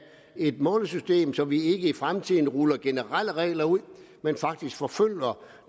et målesystem så vi ikke i fremtiden ruller generelle regler ud men faktisk forfølger